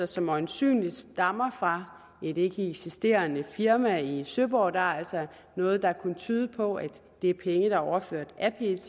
som øjensynlig stammer fra et ikkeeksisterende firma i søborg der er altså noget der kunne tyde på at det er penge der er overført af pet